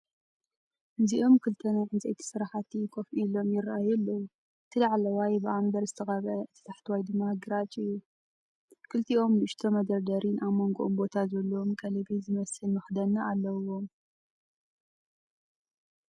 እዚኦም ክልተ ናይ ዕንፀይቲ ስራሕቲ ኮፍ ኢሎም፡ ይራኣዩ ኣለዉ። እቲ ላዕለዋይ ብኣምበር ዝተቐብአ፡ እቲ ታሕተዋይ ድማ ግራጭ እዩ። ክልቲኦም ንእሽቶ መደርደሪን ኣብ መንጎኦም ቦታ ዘለዎ ቀለቤት ዝመስል መኽደኒን ኣለዎም።